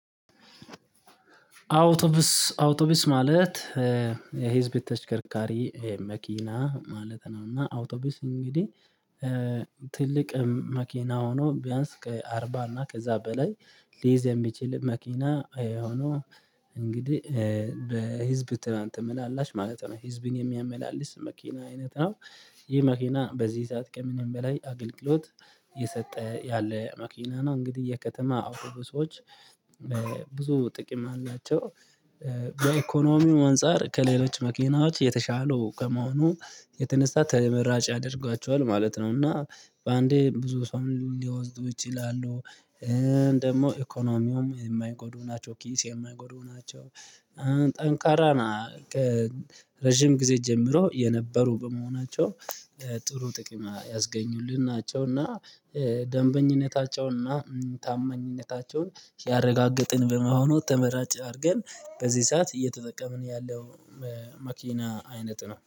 አውቶቡስ አውቶቡስ ማለት የህዝብ ተሽከርካሪ መኪና ማለት ነው። እና አውቶቢስ እንግዲህ ትልቅ መኪና ሆኖ ቢያንስ ከአርባ እና ከዛ በላይ ሊይዝ የሚችል መኪና ሆኖ እንግዲህ በህዝብ ትላንት ተመላላሽ ማለት ነው ህዝብን የሚያመላልስ መኪና አይነት ነው። ይህ መኪና በዚህ ሰዓት ከምንም በላይ አገልግሎት እየሰጠ ያለ መኪና ነው። እንግዲህ የከተማ አውቶቡሶች በብዙ ጥቅም አላቸው። በኢኮኖሚው አንፃር ከሌሎች መኪናዎች የተሻሉ ከመሆኑ የተነሳ ተመራጭ ያደርጓቸዋል ማለት ነው። እና በአንዴ ብዙ ሰውም ሊወስዱ ይችላሉ። ደግሞ ኢኮኖሚውም የማይጎዱ ናቸው ኪስ የማይጎዱ ናቸው። ጠንካራ ና ረጅም ጊዜ ጀምሮ የነበሩ በመሆናቸው ጥሩ ጥቂም ያስገኙልን ናቸው። እና ደንበኝነታቸውን እና ታመኝነታቸውን ሲያረጋግጥን በመሆኑ ተመራጭ አድርገን በዚህ ሰዓት እየተጠቀምን ያለው መኪና አይነት ነው